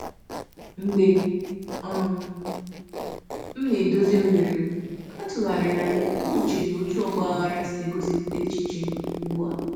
Mgbe um m na-edozi oghere m, atụgharịra m uche n'otú ọgbaghara si egosipụta echiche m ugbu a.